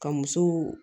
Ka musow